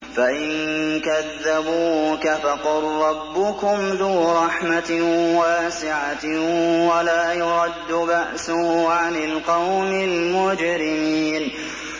فَإِن كَذَّبُوكَ فَقُل رَّبُّكُمْ ذُو رَحْمَةٍ وَاسِعَةٍ وَلَا يُرَدُّ بَأْسُهُ عَنِ الْقَوْمِ الْمُجْرِمِينَ